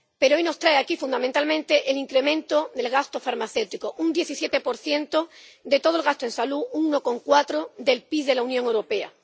Pero, hoy, nos trae aquí, fundamentalmente, el incremento del gasto farmacéutico un 17 de todo el gasto en salud —un 1,4 del PIB de la Unión Europea—.